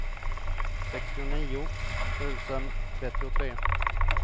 sextionio tusen trettiotre